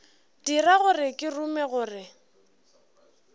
dira gore ke rume gore